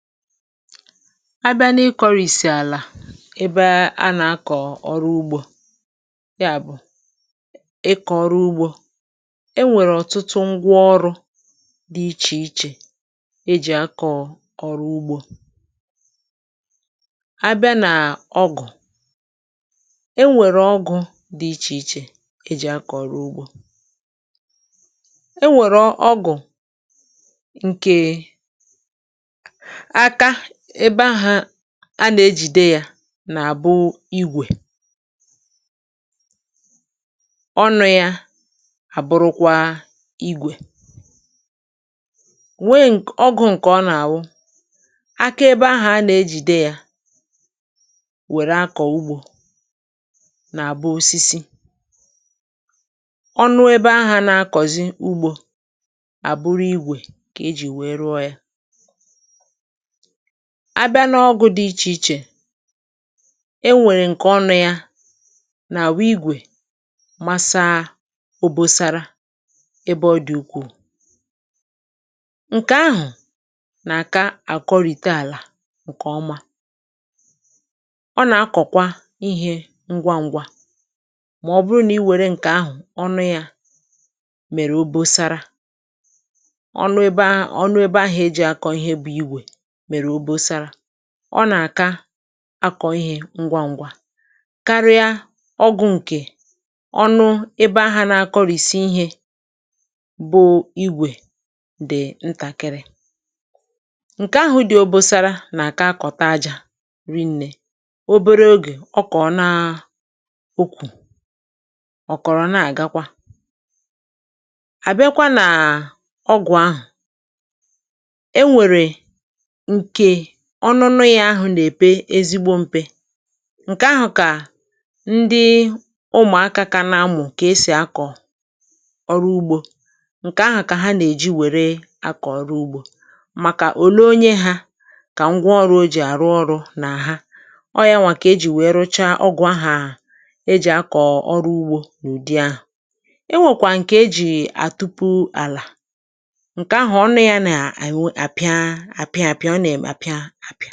Abịa n’ikọ̇rìsì àlà ebe a nà-akọ̀ ọrụ ugbȯ, ya bụ̀ ikọ̇ ọrụ ugbȯ e nwèrè ọ̀tụtụ ngwa ọrụ̇ dị̇ ichè ichè e jì akọ̀ ọ̀rụ ugbȯ. Abịa nà ọgụ̀, e nwèrè ọgụ̇ dị ichè ichè e jì akọ̀ ọ̀rụ ugbȯ. E nwèrè ọ ọgụ̀ ǹke àka ebe ahà a nà-ejìde yȧ nà-àbụ ìgwè, ọnụ̇ yȧ àbụrụkwa ìgwè; nwee ǹkọ̀ ọgụ̇ ǹkè ọ nà-àwụ aka ebe ahà a nà-ejìde yȧ wère akọ̀ ugbȯ nà-àbụ osisi, ọnụ ebe ahà na-akọ̀zi ugbȯ àbụrụ igwè kà e jì wee rụọ yȧ. Abịa n’ọgụ̇ dị ichè ichè, e nwèrè ǹkè ọnụ̇ yȧ nà àwụ igwè masaa obosara ebe ọ dị̀ ukwù; ǹkè ahụ̀ nà àka àkọrị̀ta àlà ǹkè ọma, ọ nà akọ̀kwa ihė ngwa ṅgwȧ mà ọ bụrụ nà i wère ǹkè ahụ̀ ọnụ yȧ mèrè obosara; ọnụ ebe ahụ̀ ọnụ ebe ahụ̀ eji̇ akọ ihe bụ̇ ìgwè mérè obosara, ọ nà-àka akọ̀ ihė ngwa ṅ̇gwȧ karịa ọgụ̇ ǹkè ọnụ ebe ahà nȧ-ȧkọ̇rìsi̇ ihė bụ̇ igwè dị̀ ntàkịrị. Nke ahụ̇ dị̇ òbòsara nà-àka akọ̀ta ajȧ ri ǹnė, obere ogè ọ kọ̀ọ̀ na ụkwụ ọ̀kọ̀rọ̀ nà-àgakwa. Àbịa kwa nà ọgwụ̀ ahụ̀ énwèrè nkè ọnụnụ̇ yȧ ahụ̀ nà-èpe ezigbo mpe, ǹkè ahụ̀ kà ndị ụmụ̀akȧ kȧ nȧ-amụ̀ kè esì akọ̀ ọrụ ugbȯ ǹkè ahụ̀ kà ha nà-èji wère akọ̀ ọrụ ugbȯ; màkà òlee onye hȧ kà ngwa ọrụ̇ o jì àrụ ọrụ̇ nà àha. Ọ yȧ nwà kà e jì wèe rụchaa ọgwụ̀ ahà e jì akọ̀ ọrụ ugbȯ n’ụ̀dị ahụ̀. E nwèkwà ǹkè e jì àtupu àlà ǹkè ahụ̀ ọnụ̇ ya nà àpịa àpịa àpịa ọ nà [.?] apịa àpịa